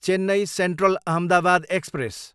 Chennai central, Ahmedabad express